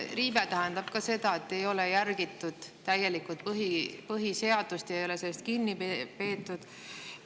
Riive tähendab ka seda, et ei ole järgitud täielikult põhiseadust ja ei ole sellest kinni peetud.